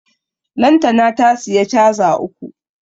Lantana ta siya caza uku